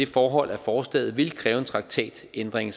forhold at forslaget vil kræve en traktatændring